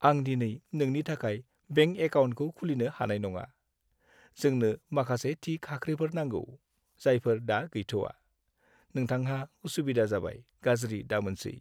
आं दिनै नोंनि थाखाय बेंक एकाउन्टखौ खुलिनो हानाय नङा। जोंनो माखासे थि खाख्रिफोर नांगौ जायफोर दा गैथवा। नोंथांहा उसुबिदा जाबाय, गाज्रि दामोनसै।